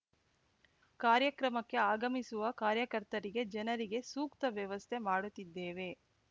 ಕಾರ್ಯಕ್ರಮಕ್ಕೆ ಆಗಮಿಸುವ ಕಾರ್ಯಕರ್ತರಿಗೆ ಜನರಿಗೆ ಸೂಕ್ತ ವ್ಯವಸ್ಥೆ ಮಾಡುತ್ತಿದ್ದೇವೆ